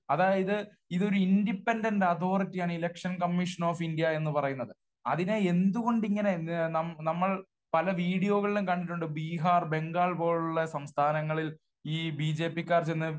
അതായത് ഇത് ഒരു ഇൻഡിപെൻഡൻറ് അതോറിറ്റിയാണ് എലക്ഷൻ കമ്മിഷൻ ഓഫ് ഇന്ത്യ എന്ന് പറയുന്നത്. അതിനെ എന്തു കൊണ്ട് ഇങ്ങനെ നമ്മൾ പല വീഡിയോകളിലും കണ്ടിട്ടുണ്ട് ബീഹാർ, ബംഗാൾ പോലുള്ള സംസ്ഥാനങ്ങളിൽ ഈ ബി ജെ പി ക്കാർ ചെന്ന്